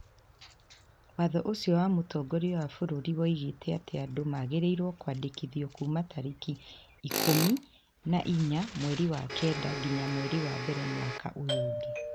Watho ũcio wa mũtongoria wa bũrũri woigĩte atĩ andũ magĩrĩirũo kwandĩkwo kuuma tarĩki ikũmi na inya mweri wa kenda nginya mweri wa mbere mwaka ũyũ ũngĩ.